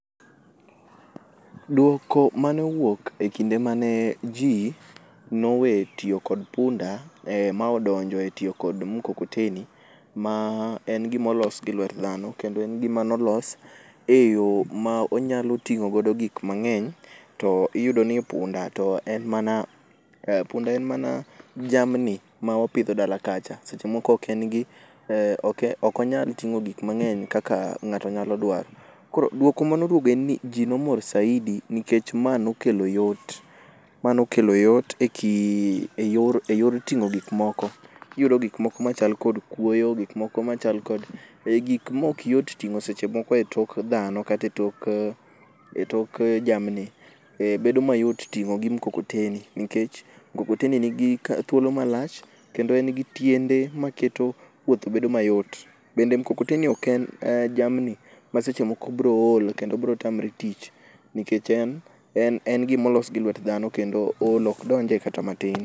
Duoko mane owuok e kinde mane ji nowe tiyo kod punda maodonjo e tiyo kod mkokoteni, ma en gimolos gi lwet dhano, kendo en gima nolos e yo ma onyalo ting'o godo gik moko mang'eny. Tiyudo ni punda en mana, punda en mana jamni ma wapidho dala kacha. Seche moko eo en gi, okonyal ting'o gik mang'eny kaka ng'ato nyalo dwaro. Koro duoko manoduogo en ni, ji nomor saidi nikech ma nokelo yot. Ma nokelo yot e kind, e yor, e yor ting'o gik moko. Kiyudo gik moko machal kod kuoyo, gik moko machal kod ei gik mok yot ting'o seche moko e tok dhano, kata e tok e tok jamni, bedo mayot ting'o gi mkokoteni nikech mkokoteni nigi thuolo malach. Kendo en gi tiende ma keto wuoth bedo mayot. Bende mkokoteni ok en jamni ma seche moko biro ol kendo biro tamore tich. Nikech en en en gima olos gi lwet dhano kendo ol okdonje kata matin.